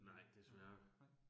Nej desværre